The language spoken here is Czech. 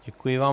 Děkuji vám.